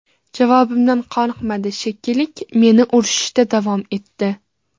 Javobimdan qoniqmadi, shekilli, meni urishda davom etdi.